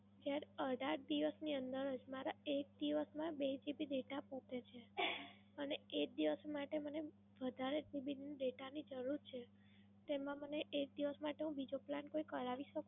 બે અઢાર જ દિવસ ની અંદર જ મારા એક દિવસ ના બે GB data પતે છે. હવે એક દિવસ માટે વધારે GB નો Data ની જરૂર છે તેમાં મને એક દિવસ માટે હું બીજો Plan કોઈ કરાવી શકું?